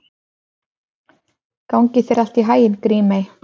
Gangi þér allt í haginn, Grímey.